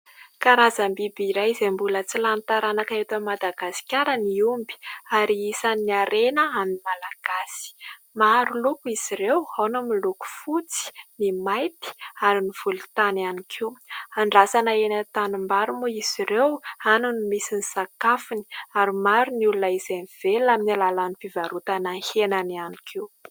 Karazam-biby iray izay mbola tsy lany taranaka eto Madagasikara ny omby ary isan'ny harena amin'ny Malagasy. Maro loko izy ireo ao ny miloko fotsy, ny mainty ary ny volontany ihany koa. Andrasana eny an-tanimbary moa izy ireo, any no misy ny sakafony ary maro ny olona izay mivelona amin'ny alalan'ny fivarotana henany ihany koa.